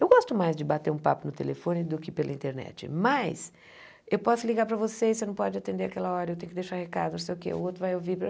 Eu gosto mais de bater um papo no telefone do que pela internet, mas eu posso ligar para vocês, você não pode atender aquela hora, eu tenho que deixar recado, não sei o quê, o outro vai ouvir.